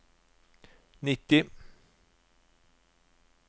nitti